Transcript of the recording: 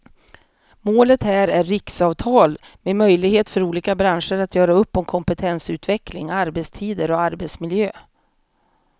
Målet här är riksavtal med möjlighet för olika branscher att göra upp om kompetensutveckling, arbetstider och arbetsmiljö.